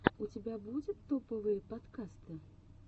у тебя будет топовые подкасты